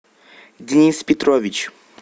денис петрович